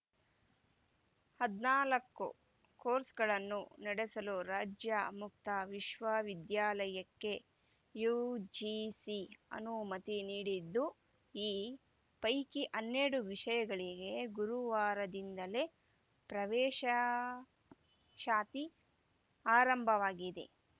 ಹದನಾಲ್ಕು ಕೋರ್ಸ್‌ಗಳನ್ನು ನಡೆಸಲು ರಾಜ್ಯ ಮುಕ್ತ ವಿಶ್ವವಿದ್ಯಾಲಯಕ್ಕೆ ಯುಜಿಸಿ ಅನುಮತಿ ನೀಡಿದ್ದು ಈ ಪೈಕಿ ಹನ್ನೆರಡು ವಿಷಯಗಳಿಗೆ ಗುರುವಾರದಿಂದಲೇ ಪ್ರವೇಶಾ ಶಾತಿ ಆರಂಭವಾಗಿದೆ